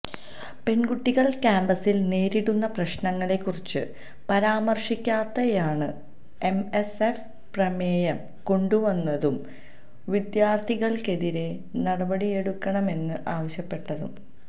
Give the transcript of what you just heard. പെണ്കുട്ടികള് കാമ്പസില് നേരിടുന്ന പ്രശ്നങ്ങളെക്കുറിച്ച് പരാമര്ശിക്കാതെയാണ് എം എസ് എഫ് പ്രമേയം കൊണ്ടുവന്നതും വിദ്യാര്ഥിനികള്ക്കെതിരെ നടപടിയെടുക്കണമെന്ന് ആവശ്യപ്പെട്ടതും